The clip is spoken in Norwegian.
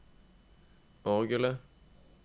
orgelet